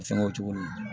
Fɛngɛw cogo min na